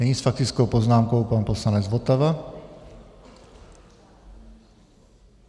Nyní s faktickou poznámkou pan poslanec Votava.